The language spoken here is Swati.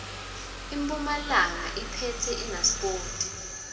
impumalanga iphetse inasipoti